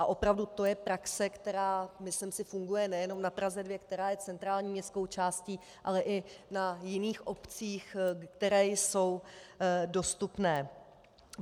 A opravdu to je praxe, která, myslím si, funguje nejenom na Praze 2, která je centrální městskou částí, ale i na jiných obcích, které jsou dostupné.